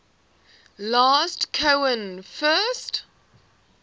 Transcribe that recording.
last cohen first